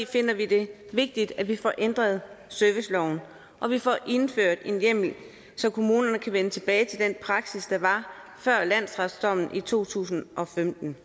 finder vi det vigtigt at vi får ændret serviceloven og vi får indført en hjemmel så kommunerne kan vende tilbage til den praksis der var før landsretsdommen i to tusind og femten